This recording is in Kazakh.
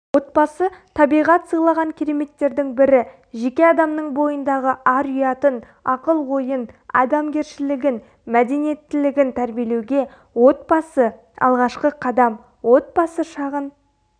отбасы-табиғат сыйлаған кереметтердің бірі жеке адамның бойындағы ар-ұятын ақыл-ойын адамгершілігін мәдениеттілігін тәрбиелеуге отбасы-алғашқы қадам отбасы шағын